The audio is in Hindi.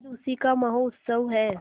आज उसी का महोत्सव है